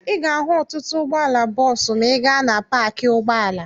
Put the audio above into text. Ị ga-ahụ ọtụtụ ụgbọala bọọsụ ma ị gaa paakị ụgbọala.